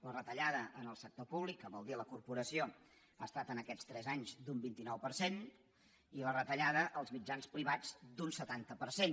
la retallada en el sector públic que vol dir a la corpora·ció ha estat en aquests tres anys d’un vint nou per cent i la retallada als mitjans privats d’un setanta per cent